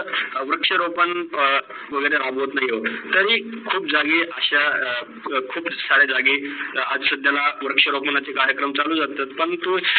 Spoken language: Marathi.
वृषक्ष रोपण वगैरे रागवत नाही. तरील पण तरी खूप झगे अशा, खूप सारे झगे अशा वृषक्ष रोपण च कार्यक्रमची चालू लागतात पण आपण तो